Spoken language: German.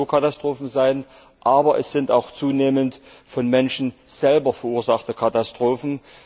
Das können Naturkatastrophen sein, aber es sind auch zunehmend von Menschen selbst verursachte Katastrophen.